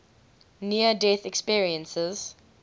near death experiences